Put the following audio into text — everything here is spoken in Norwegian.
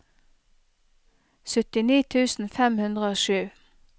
syttini tusen fem hundre og sju